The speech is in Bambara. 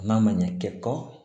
N'a ma ɲɛ kɛtɔ